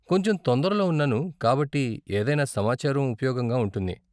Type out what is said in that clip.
కొంచెం తొందరలో ఉన్నాను కాబట్టి ఏదైనా సమాచారం ఉపయోగంగా ఉంటుంది.